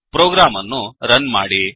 program ಅನ್ನು run ಮಾಡಿ